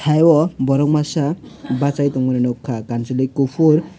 taiyo borok masa basai tangmani nogkha kansoloi kopor.